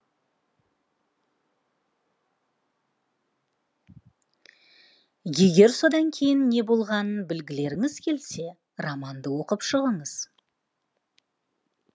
егер содан кейін не болғанын білгілеріңіз келсе романды оқып шығыңыз